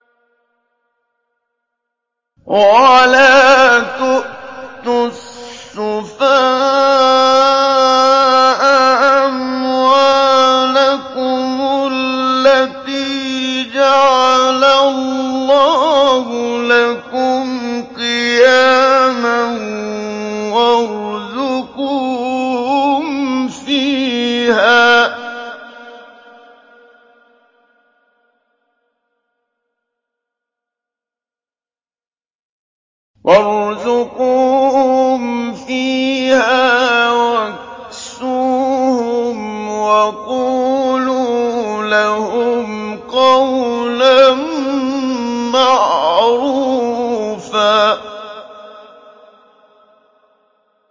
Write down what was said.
وَلَا تُؤْتُوا السُّفَهَاءَ أَمْوَالَكُمُ الَّتِي جَعَلَ اللَّهُ لَكُمْ قِيَامًا وَارْزُقُوهُمْ فِيهَا وَاكْسُوهُمْ وَقُولُوا لَهُمْ قَوْلًا مَّعْرُوفًا